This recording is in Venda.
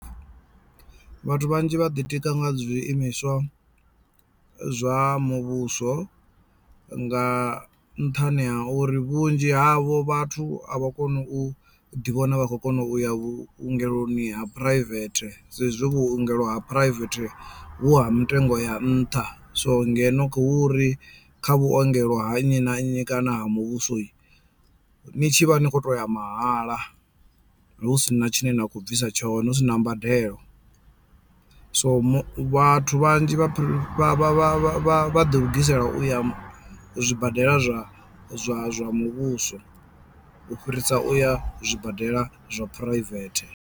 Vhathu vhanzhi vhaḓi tika nga zwiimiswa zwa muvhuso nga nṱhani ha uri vhunzhi havho vhathu a vha koni u ḓivhona vha khou kona uya vhungeloni ha phuraivethe saizwi vhuongelo ha private vhu ha mitengo ya nṱha so ngeno hu uri kha vhuongelo ha nnyi na nnyi kana ha muvhuso ni tshivha ni kho to ya mahala hu si na tshine na khou bvisa tshone hu sina mbadelo. So vhathu vhanzhi vha vha vha vha vha ḓi lugisela u ya zwibadela zwa zwa zwa muvhuso u fhirisa u ya zwibadela zwa phuraivethe.